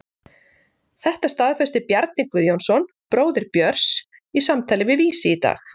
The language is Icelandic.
Þetta staðfesti Bjarni Guðjónsson, bróðir Björns, í samtali við Vísi í dag.